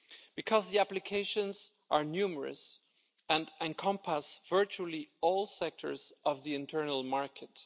because the applications are numerous and encompass virtually all sectors of the internal market.